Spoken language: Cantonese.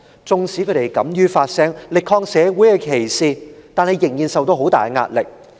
縱使他們敢於發聲，力抗社會的歧視，但仍然受到很大壓力。